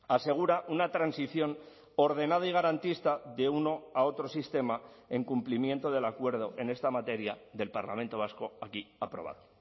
asegura una transición ordenada y garantista de uno a otro sistema en cumplimiento del acuerdo en esta materia del parlamento vasco aquí aprobado